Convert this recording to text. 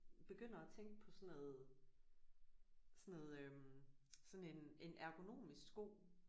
Begynder at tænke på sådan noget sådan noget øh sådan en en ergonomisk sko